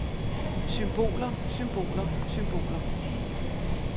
symboler symboler symboler